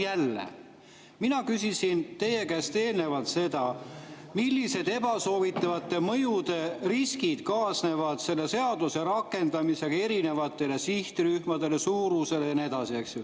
Nüüd jälle, mina küsisin teie käest eelnevalt seda, millised ebasoovitavate mõjude riskid kaasnevad selle seaduse rakendamisega erinevatele sihtrühmadele, suurusele jne.